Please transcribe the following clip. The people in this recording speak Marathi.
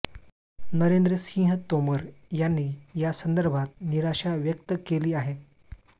नरेंद्र सिंह तोमर यांनी यासंदर्भात निराशा व्यक्त केली आहे